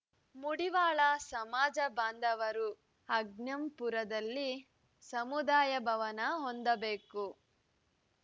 ಮುಡಿವಾಳ ಸಮಾಜ ಬಾಂಧವರು ಅಜ್ಜಂಪುರದಲ್ಲಿ ಸಮುದಾಯ ಭವನ ಹೊಂದಬೇಕು